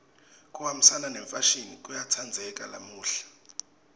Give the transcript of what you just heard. kuhambisana nemfashini kuyatsandzeka lamuhla